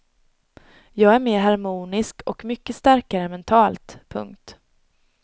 Jag är mer harmonisk och mycket starkare mentalt. punkt